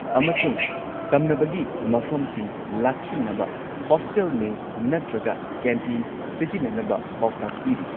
ꯑꯃꯁꯨꯡ ꯁꯝꯅꯕꯒꯤ ꯃꯐꯝꯁꯤꯡ ꯂꯥꯛꯁꯤꯟꯅꯕ ꯍꯣꯁꯇꯦꯜ ꯃꯦꯁ ꯅꯠꯇ꯭ꯔꯒ ꯀꯦꯟꯇꯤꯟ ꯁꯤꯖꯤꯟꯅꯅꯕ ꯄꯥꯎꯇꯥꯛ ꯄꯤꯔꯤ꯫